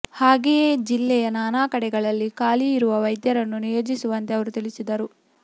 ಹಾಗೆಯೇ ಜಿಲ್ಲೆಯ ನಾನಾ ಕಡೆಗಳಲ್ಲಿ ಖಾಲಿ ಇರುವ ವೈದ್ಯರನ್ನು ನಿಯೋಜಿಸುವಂತೆ ಅವರು ತಿಳಿಸಿದರು